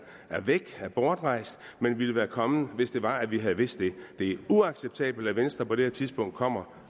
er væk er bortrejst men ville være kommet hvis det var at vi havde vidst det det er uacceptabelt at venstre på det her tidspunkt kommer